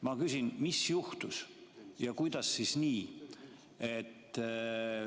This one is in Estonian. Ma küsin, mis juhtus ja kuidas nii.